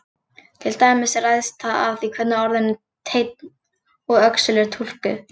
Til dæmis ræðst það af því hvernig orðin teinn og öxull eru túlkuð.